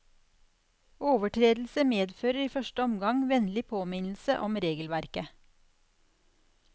Overtredelse medfører i første omgang vennlig påminnelse om regelverket.